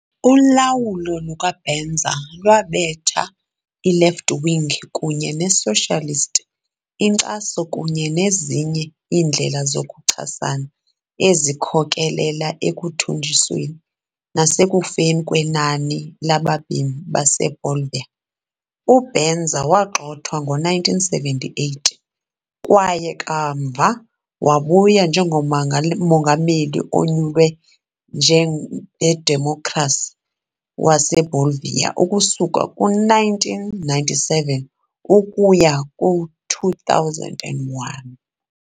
Ulawulo luka-Banzer lwabetha i-left-wing kunye ne-socialist inkcaso kunye nezinye iindlela zokuchasana, ezikhokelela ekuthuthunjisweni nasekufeni kwenani labemi baseBolivia. UBanzer wagxothwa ngo-1978 kwaye kamva wabuya njengomongameli onyulwe ngedemokhrasi waseBolivia ukusuka kwi-1997 ukuya kwi-2001.